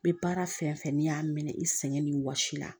N bɛ baara fɛn fɛn n'i y'a minɛ i sɛgɛn ni wɔsi la